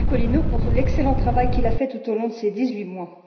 Iacolino pour l'excellent travail qu'il a fait tout au long de ces dix huit mois.